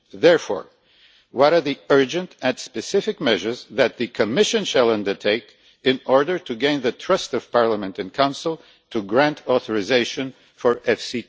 Therefore, what are the urgent and specific measures that the Commission shall undertake in order to gain the trust of Parliament and the Council to grant authorisation for EFSI